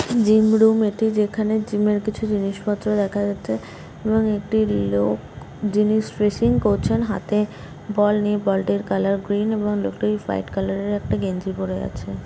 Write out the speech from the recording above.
Gym room এটি যেখানে জিমের কিছু জিনিসপত্র দেখা যাচ্ছে এবং একটি লোক যিনি প্রেসিং করছেন হাতে বল নিয়ে বল -টার কালার গ্রিন এবং লোকটি হোয়াইট কালার - এর একটি গেঞ্জি পরে আছে।